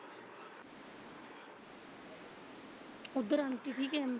ਉੱਧਰ ਆਂਟੀ ਠੀਕ ਐ?